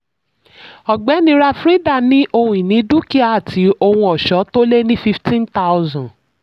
ọ̀gbẹ́ni ravrinda ní ohun-ini dúkìá àti ohun-ọṣọ tó lé ní 15000.